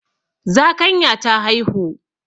Zakanya ta haihu.